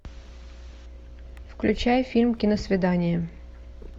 включай фильм киносвидание